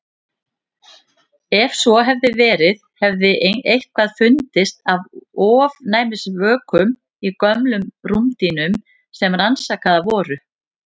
Ef svo hefði verið hefði eitthvað fundist af ofnæmisvökum í gömlum rúmdýnum sem rannsakaðar voru.